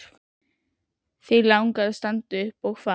Þig langar að standa upp og fara.